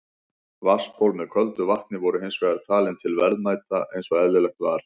Vatnsból með köldu vatni voru hins vegar talin til verðmæta eins og eðlilegt var.